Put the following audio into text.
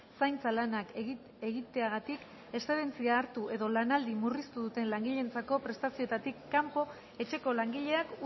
zaintza lanak egiteagatik eszedentzia hartu edo lanaldi murriztu duten langileentzako prestazioetatik kanpo etxeko langileak